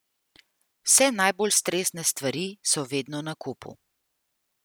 Vse najbolj stresne stvari so vedno na kupu.